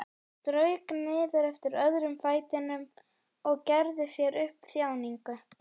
Strauk niður eftir öðrum fætinum og gerði sér upp þjáningu.